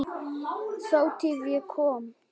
Þátíð- ég kom